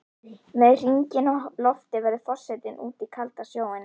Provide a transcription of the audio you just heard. Með hringinn á lofti veður forsetinn út í kaldan sjóinn.